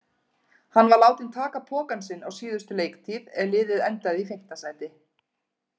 Hann var látinn taka pokann sinn á síðustu leiktíð er liðið endaði í fimmta sæti.